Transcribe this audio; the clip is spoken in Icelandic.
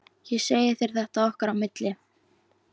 Ég segi þér þetta okkar á milli